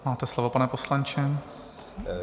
Máte slovo, pane poslanče.